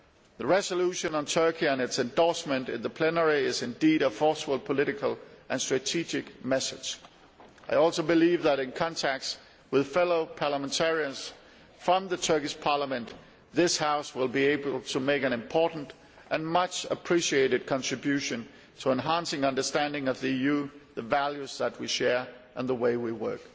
The resolution on Turkey and its endorsement in the plenary is indeed a forceful political and strategic message. I also believe that, in contacts with fellow parliamentarians from the Turkish Parliament, this House will be able to make an important and much appreciated contribution to enhancing understanding of the EU, the values that we share and the way we work.